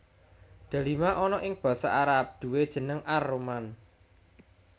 Delima ana ing basa Arab duwè jeneng ar rumman